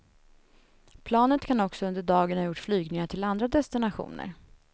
Planet kan också under dagen ha gjort flygningar till andra destinationer.